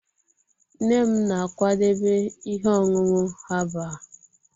nne m na-akwadebe ihe ọṅụṅụ herbal